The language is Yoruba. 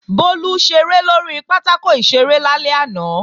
Bólú ṣeré lórí pátákò ìṣeré lálẹ́ àná